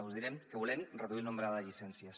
us direm que volem reduir el nombre de llicències